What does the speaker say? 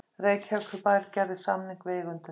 Reykjavíkurbær gerði samning við eigendur